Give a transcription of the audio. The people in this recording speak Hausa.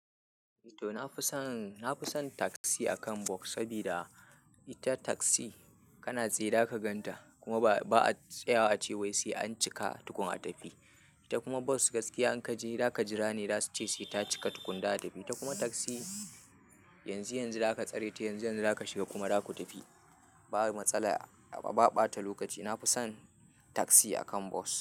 Toh na fi son taxi akan bus, saboda ita taxi kana tsaye zaka ganta kuma ba'a tsawaya a ce sai an cika Ita kum bus gaskiya in ka je zaka jira ne za suce sai ta cika za'a tafi ta kuma taxi yanzu-yanzu za ka tsare ta, yanzu-yanzu za ka shiga kuma za ku tafi. Ba matsala, a ba ɓata lokaci. Na fi son taksi akan bos.